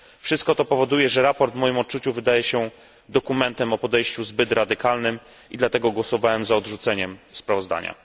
Wszystko to powoduje, że sprawozdanie w moim odczuciu wydaje się dokumentem o podejściu zbyt radykalnym i dlatego głosowałem za odrzuceniem sprawozdania.